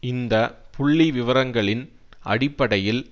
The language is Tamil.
இந்த புள்ளி விவரங்களின் அடிப்படையில்